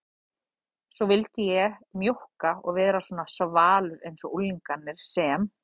Svo vildi ég mjókka og vera svona svalur einsog unglingarnir sem